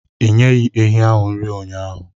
Ị nyeghị ehi ahu nri ụnyahụ?